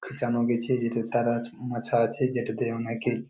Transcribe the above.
জানো গেছে যেটাতে তার আজ মাছা আছে যেটাতে অনেকেই ।